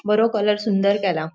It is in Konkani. बरो कलर सुंदर केला.